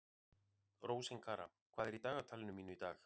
Rósinkara, hvað er í dagatalinu mínu í dag?